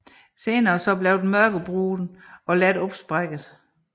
Senere bliver den mørkebrun og let opsprækkende